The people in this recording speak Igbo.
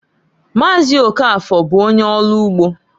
Maazị Okafor bụ onye ọlụ ugbo.